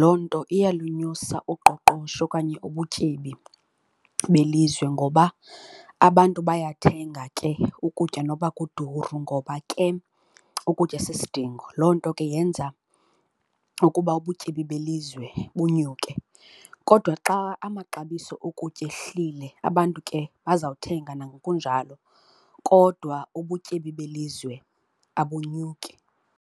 loo nto iyalunyusa uqoqosho okanye ubutyebi belizwe ngoba abantu bayathenga ke ukutya noba kuduru ngoba ke ukutya sisidingo. Loo nto ke yenza ukuba ubutyebi belizwe bunyuke. Kodwa xa amaxabiso okutya ehlile abantu ke bazawuthenga nangokunjalo kodwa ubutyebi belizwe abunyuki.